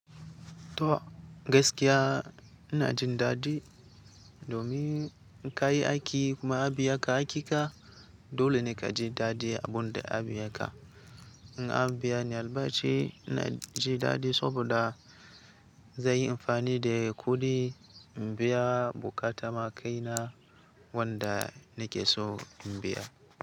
To gaskiya ina jin daɗi domin ka yi aiki kuma anbiya ka hakin ka. Dole ne ka ji daɗi abun da aka biya ka. In an biya ni albashi, ina ji daɗi saboda zan yi amfani da kuɗi in biya buƙatan ma kaina wanda nake so in biya.